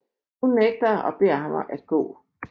Hun nægter og beder ham at gå